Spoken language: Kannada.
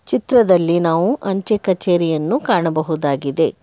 ಚಿತ್ರದಲ್ಲಿ ನಾವು ಅಂಚೆ ಕಚೇರಿಯನ್ನು ಕಾಣಬಹುದಾಗಿದೆ.